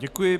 Děkuji.